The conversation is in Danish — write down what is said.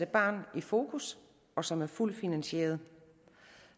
barn i fokus og som er fuldt finansieret